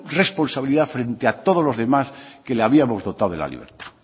responsabilidad frente a todos los demás que le habíamos dotado de la libertad